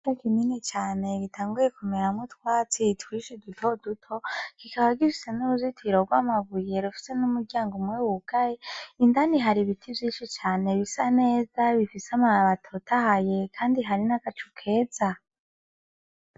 Ikibuga kinini cane gitanguye kumeramwo utwatsi twinshi dutoduto, kikaba gifise n'uruzitiro rw'amabuye rufise n'umuryango umwe wugaye, indani hari ibiti vyinshi cane bisa neza bifise amababi atotahaye kandi hari n'agacu keza.